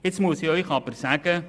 Ich muss Ihnen aber sagen: